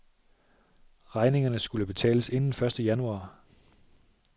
Regningerne skulle betales inden første januar.